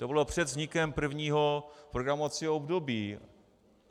To bylo před vznikem prvního programovacího období.